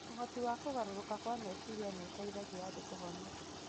Ũhoti wa kũgarũrũka kwa meciria nĩ ũteithagia andũ kũhona